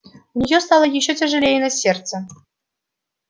у нее стало ещё тяжелее на сердце